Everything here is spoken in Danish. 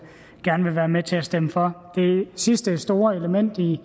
gerne vil være med til at stemme for det sidste store element i